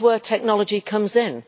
this is where technology comes in.